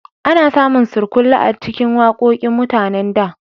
A na samun surkulle a cikin waƙoƙin mutanen da